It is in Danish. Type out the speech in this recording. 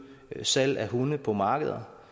salg af hunde på markeder